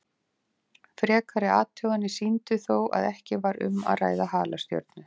Frekari athuganir sýndu þó að ekki var um að ræða halastjörnu.